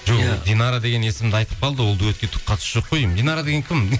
жоқ ол динара деген есімді айтып қалды ол дуэтке түк қатысы жоқ қой деймін динара деген кім